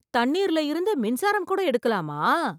தண்ணீர்ல இருந்து மின்சாரம் கூட எடுக்கலாமா!